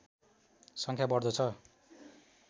सङ्ख्या बढ्दो छ